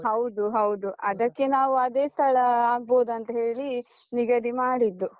ಹೌದು ಹೌದು, ಅದಕ್ಕೆ ನಾವು ಅದೇ ಸ್ಥಳ ಆಗ್ಬೋದಂತ ಹೇಳಿ ನಿಗದಿ ಮಾಡಿದ್ದು.